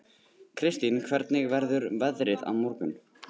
Kirstín, hvernig verður veðrið á morgun?